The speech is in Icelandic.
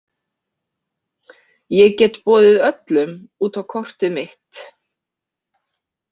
Ég get boðið öllum út á kortið mitt.